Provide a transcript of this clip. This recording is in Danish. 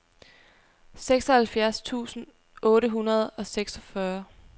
seksoghalvfjerds tusind otte hundrede og seksogfyrre